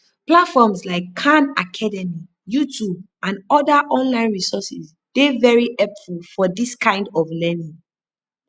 platforms like khan academy youtube and oda online resources dey very helpful for dis kind of learning